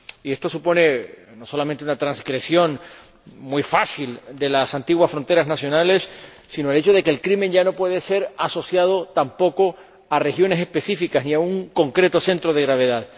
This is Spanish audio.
Esto supone no solamente una transgresión muy fácil de las antiguas fronteras nacionales, sino el hecho de que el crimen ya no puede ser asociado tampoco a regiones específicas ni a un concreto centro de gravedad.